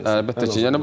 Əlbəttə ki.